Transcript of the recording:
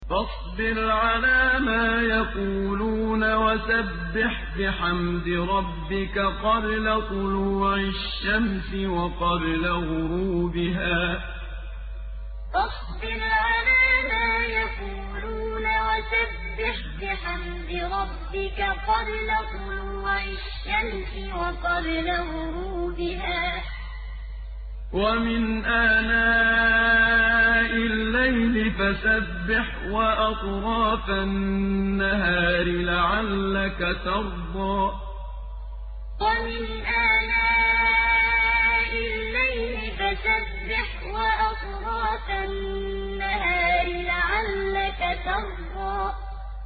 فَاصْبِرْ عَلَىٰ مَا يَقُولُونَ وَسَبِّحْ بِحَمْدِ رَبِّكَ قَبْلَ طُلُوعِ الشَّمْسِ وَقَبْلَ غُرُوبِهَا ۖ وَمِنْ آنَاءِ اللَّيْلِ فَسَبِّحْ وَأَطْرَافَ النَّهَارِ لَعَلَّكَ تَرْضَىٰ فَاصْبِرْ عَلَىٰ مَا يَقُولُونَ وَسَبِّحْ بِحَمْدِ رَبِّكَ قَبْلَ طُلُوعِ الشَّمْسِ وَقَبْلَ غُرُوبِهَا ۖ وَمِنْ آنَاءِ اللَّيْلِ فَسَبِّحْ وَأَطْرَافَ النَّهَارِ لَعَلَّكَ تَرْضَىٰ